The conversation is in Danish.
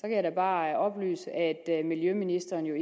jeg da bare oplyse at miljøministeren jo